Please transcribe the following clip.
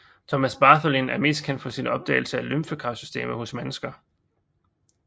Thomas Bartholin er mest kendt for sin opdagelse af lymfekarsystemet hos mennesker